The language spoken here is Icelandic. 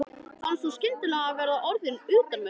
Fannst hún skyndilega vera orðin utanveltu.